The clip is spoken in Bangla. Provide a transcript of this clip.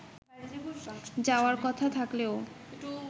যাওয়ার কথা থাকলেও